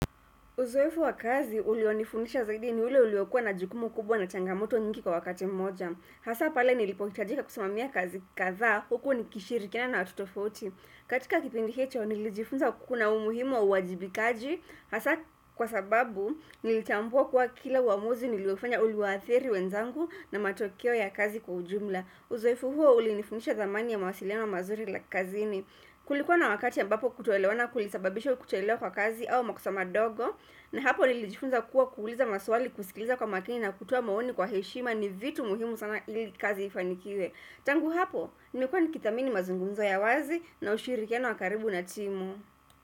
Uzoefu wa kazi, ulionifundisha zaidi ni ule uliokuwa na jukumu kubwa na changamoto nyingi kwa wakati mmoja. Hasa pale nilipohitajika kusimamia kazi kadhaa, huku nikishirikiana na watu tofauti. Katika kipindi hicho, nilijifunza kuna umuhimu wa uajibikaji. Hasa kwa sababu, nilitambua kuwa kila uamuzi niliofanya uliwathiri wenzangu na matokeo ya kazi kwa ujumla. Uzoefu huo ulinifundisha dhamani ya mawasiliano mazuri kazini. Kulikuwa na wakati ambapo kutoelewana kulisababisha kuchelewa kwa kazi au makosa madogo na hapo nilijifunza kuwa kuuliza maswali kusikiliza kwa makini na kutoa maoni kwa heshima ni vitu muhimu sana ili kazi ifanikiwe Tangu hapo, nimekuwa nikithamini mazungumzo ya wazi na ushirikiano wa karibu na timu.